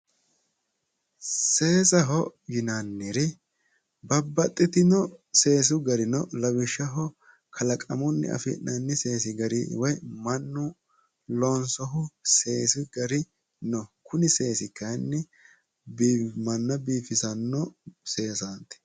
Seesaho yinnanniri babbaxitino seesu gari no, lawishshaho kalaqamunni afi'nanni gari mannu loonso seesi gari no kunni seesi gari kayinni manna biifisano seesati.